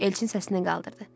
Elçin səsləndi qaldırdı.